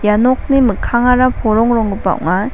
ia nokni mikkangara porongronggipa ong·a.